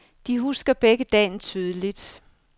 De husker begge dagen tydeligt.